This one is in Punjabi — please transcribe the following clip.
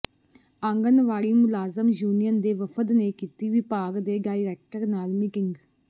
ਆਂਗਨਵਾੜੀ ਮੁਲਾਜ਼ਮ ਯੂਨੀਅਨ ਦੇ ਵਫ਼ਦ ਨੇ ਕੀਤੀ ਵਿਭਾਗ ਦੇ ਡਾਇਰੈਕਟਰ ਨਾਲ ਮੀਟਿੰਗ